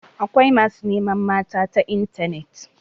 Akwai masu neman mata ta intanet.